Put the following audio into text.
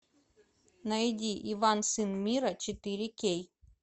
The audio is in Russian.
найди иван сын мира четыре кей